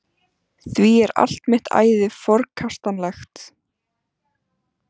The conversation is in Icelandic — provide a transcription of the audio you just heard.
Því er allt mitt æði forkastanlegt.